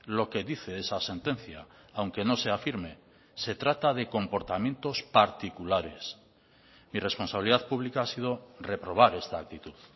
lo que dice esa sentencia aunque no sea firme se trata de comportamientos particulares mi responsabilidad pública ha sido reprobar esta actitud